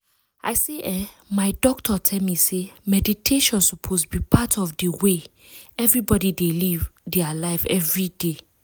i say eeh my doctor tell me say meditation suppose be part of de way everbody dey live dia life everyday.